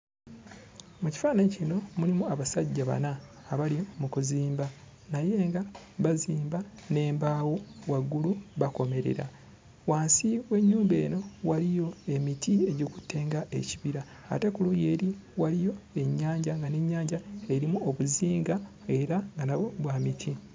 Mu kifaananyi kino mulimu abasajja bana abali mu kuzimba naye nga bazimba n'embaawo, waggulu bakomerera. Wansi w'ennyumba eno waliyo emiti egikutte ng'ekibira ate ku luuyi eri waliyo ennyanja nga n'ennyanja erimu obuzinga era nga nabwo bwa miti.